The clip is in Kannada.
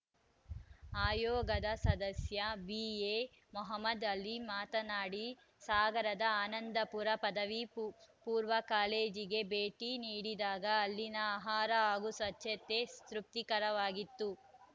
ಆಯೋಗದ ಸದಸ್ಯ ಬಿಎ ಮೊಹಮದ್‌ ಆಲಿ ಮಾತಾನಾಡಿ ಸಾಗರದ ಆನಂದಪುರ ಪದವಿಪೂರ್ವ ಕಾಲೇಜ್‌ಗೆ ಭೇಟಿ ನೀಡಿದಾಗ ಅಲ್ಲಿನ ಆಹಾರ ಹಾಗೂ ಸ್ವಚ್ಚತೆ ತೃಪ್ತಿಕರವಾಗಿತ್ತು